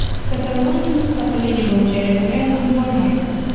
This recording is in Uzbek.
Kataloniya mustaqilligi bo‘yicha referendum bo‘lmaydi.